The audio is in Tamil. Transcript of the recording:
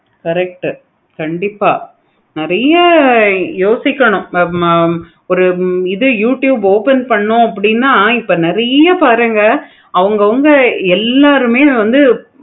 correct கண்டிப்பா நெறைய யோசிக்கணும் நம்ம ஒரு இது youtube பண்ணோம் அப்படினா இப்ப நெறைய பாருங்க அவுங்க வந்து எல்லாருமே வந்து